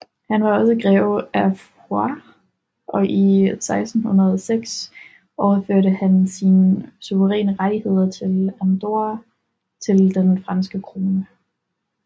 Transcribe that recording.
Han var også greve af Foix og i 1606 overførte han sine suveræne rettigheder til Andorra til den franske krone